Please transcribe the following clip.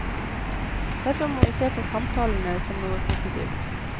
Derfor må vi se på samtalene som noe positivt.